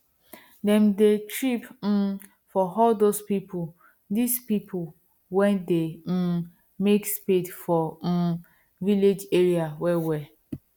them dey trip um for all these people these people wen dey um make spade for um village area well well